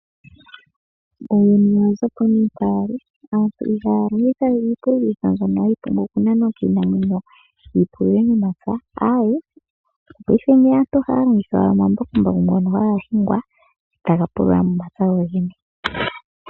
Uuyuni owa za po mpoka wa li. Aantu ohaya longitha we iipululo mbyono hayi nanwa kiinamwenyo yi pulule momapya, aawe, paife aantu ohaya longitha omambakumbaku ngono haga hingwa taga pulula momapya.